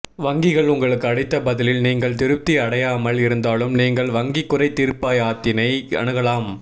வங்கிகள் உங்களுக்கு அளித்த பதிலில் நீங்கள் திருப்தி அடையாமல் இருந்தாலும் நீங்கள் வங்கி குறை தீர்ப்பாயத்தினை அணுகலாம்